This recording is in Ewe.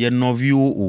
ye nɔviwo o.